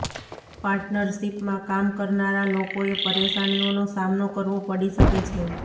પાર્ટનરશિપમાં કામ કરનારા લોકોએ પરેશાનીઓનો સામનો કરવો પડી શકે છે